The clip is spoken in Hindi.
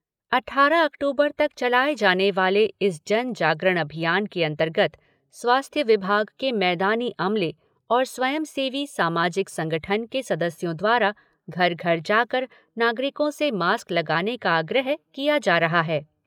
अट्ठारह अक्टूबर तक चलाए जाने वाले इस जन जागरण अभियान के अंतर्गत स्वास्थ्य विभाग के मैदानी अमले और स्वयंसेवी सामाजिक संगठन के सदस्यों द्वारा घर घर जाकर नागरिकों से मास्क लगाने का आग्रह किया जा रहा है।